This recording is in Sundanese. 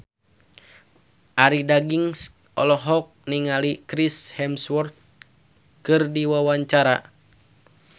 Arie Daginks olohok ningali Chris Hemsworth keur diwawancara